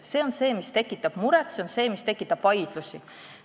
See on see, mis tekitab muret, see on see, mis tekitab vaidlusi.